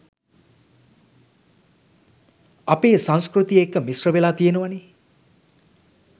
අපේ සංස්කෘතිය එක්ක මිශ්‍රවෙලා තියනවනේ